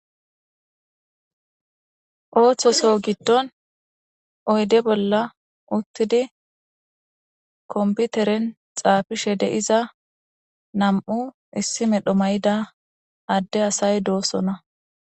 Ooththoso giddon oyde bolla uttidi komputeren xaafishe deiza nam'u issi medho may'ida adde asay doosona